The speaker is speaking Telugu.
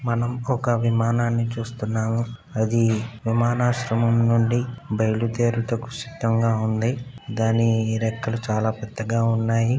మనం ఒక విమానము చూస్తున్నాము అది విమాన ఆశ్రమం నుండి బయలుదేరుటకు సిద్దంగా ఉంది దాని రెక్కలు చాలా పెద్దగా ఉన్నాయి.